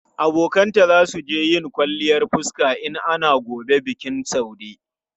Abokanta za su je yin kwalliyan fuska in ana gobe bikin Saude.